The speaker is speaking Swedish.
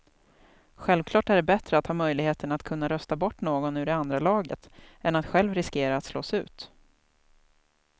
Självklart är det bättre att ha möjligheten att kunna rösta bort någon ur det andra laget än att själv riskera att slås ut.